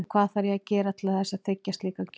Og hvað þarf ég að gera til þess að þiggja slíka gjöf?